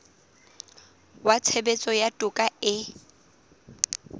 wa tshebetso ya toka e